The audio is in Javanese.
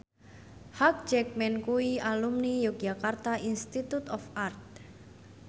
Hugh Jackman kuwi alumni Yogyakarta Institute of Art